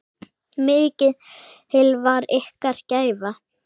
Mikil var ykkar gæfa.